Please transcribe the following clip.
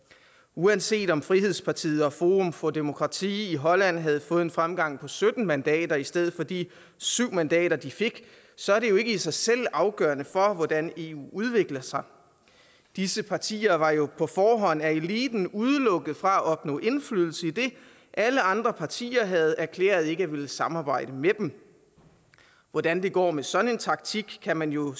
uanset om frihedspartiet og forum for demokrati i holland havde fået en fremgang på sytten mandater i stedet for de syv mandater de fik så er det ikke i sig selv afgørende for hvordan eu udvikler sig disse partier var jo på forhånd af eliten udelukket fra et opnå indflydelse idet alle andre partier havde erklæret ikke at ville samarbejde med dem hvordan det går med sådan en taktik kan man jo